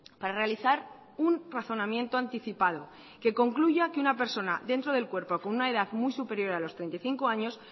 para realizar un razonamiento anticipado que concluya que una persona dentro del cuerpo con una edad muy superior a los treinta y cinco años